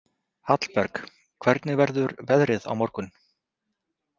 Hallberg, hvernig verður veðrið á morgun?